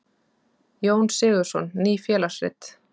Jón Sigurðsson: Ný félagsrit.